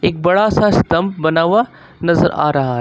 एक बड़ा स्तंभ बना हुआ नजर आ रहा है।